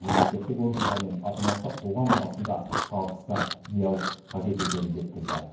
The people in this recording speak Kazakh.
мемлекеттік органдар мен азаматтық қоғам арасында табысты диалог қажет екенін жеткізді